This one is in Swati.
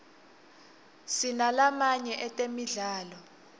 sinalamaye etemidlalo